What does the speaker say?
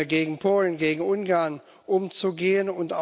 gegen Polen, gegen Ungarn umzugehen?